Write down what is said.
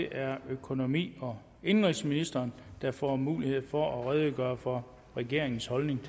er økonomi og indenrigsministeren der får mulighed for at redegøre for regeringens holdning